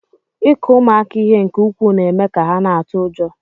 Ịkụ ụmụaka ihe nke ukwuu na-eme ka ha na-atụ ụjọ.